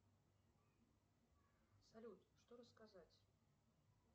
салют что рассказать